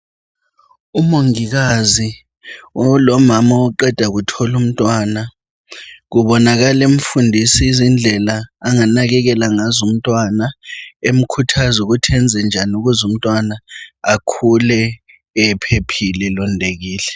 Umongikazi olomama oqeda kuthola umntwana kubonakala emfundisa izindlela anganakekela ngazo umntwana emkhuthaza ukuthi enze njani ukuze umntwana akhule ephephile elondekile.